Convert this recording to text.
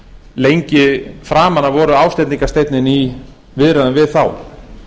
lengi framan af voru ásteytingarsteinninn í viðræðum við þá